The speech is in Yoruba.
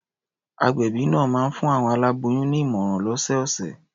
Agbẹ̀bí náà máa ń fún àwọn aláboyùn ní ìmọ̀ràn lọ́sọ̀ọ̀sẹ̀.